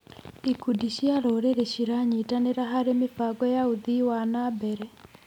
Ikundi cia rũrĩrĩ ciranyitanĩra harĩ mĩbango ya ũthii wa na mbere.